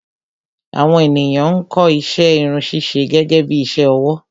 Àwọn ènìyàn ń kọ́ iṣẹ́ Irun ṣíṣe gẹ́gẹ́bí iṣẹ́ ọwọ́